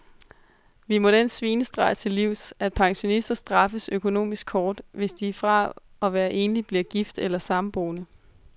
Vi må den svinestreg til livs, at pensionister straffes økonomisk hårdt, hvis de fra at være enlig bliver gift eller samboende.